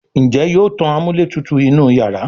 Njé yóò tán amúlétutù inú iyàrá?